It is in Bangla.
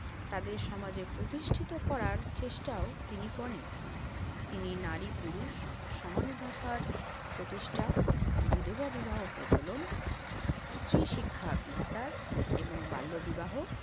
তাদের সমাজে প্রতিষ্ঠিত করার চেষ্টাও তিনি করেন। তিনি নারী-পুরুষ সমানে থাকার প্রতিষ্ঠা, বিধবা বিবাহ প্রচলন, স্ত্রীশিক্ষা বিস্তার এবং বাল্যবিবাহ